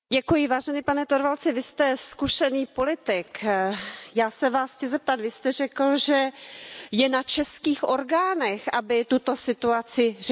Pane Torvaldsi, vy jste zkušený politik Já se vás chci zeptat Vy jste řekl, že je na českých orgánech, aby tuto situaci řešily.